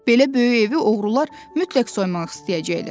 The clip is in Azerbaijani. Belə böyük evi oğrular mütləq soymaq istəyəcəklər.